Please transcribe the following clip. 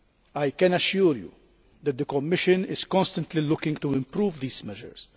I can assure you that the Commission is constantly looking to improve these measures.